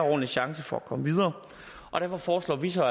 ordentlig chance for at komme videre og derfor foreslår vi så